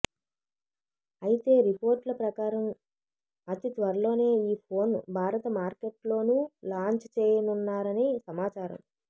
అయితే రిపోర్టుల ప్రకారం అతి త్వరలోనే ఈ ఫోన్ భారత మార్కెట్లోనూ లాంచ్ చేయనున్నారని సమాచారం